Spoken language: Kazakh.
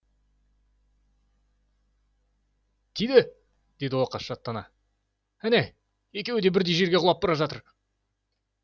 тиді деді оқас шаттана әне екеуі де бірдей жерге құлап бара жатыр